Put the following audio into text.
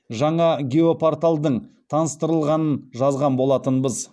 жаңа геопорталдың таныстырылғанын жазған болатынбыз